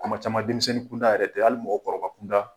Kuma caman denmisɛnnin kunda yɛrɛ tɛ, hali mɔgɔkɔrɔba kun da.